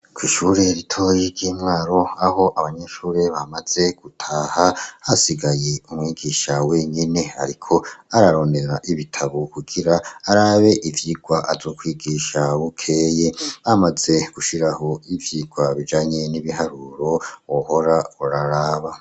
Kw'ishure ritoyi ry'iMwaro aho abanyeshure bamaze gutaha, hasigaye umwigisha wenyene, ariko ararondera ibitabo kugira arabe ivyikwa azokwigisha bukeye, amaze gushiraho ivyirwa bijanye n'ibiharuro wohora uraraba.